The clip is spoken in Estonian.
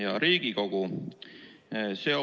Hea Riigikogu!